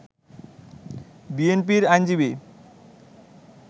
বিএনপির আইনজীবী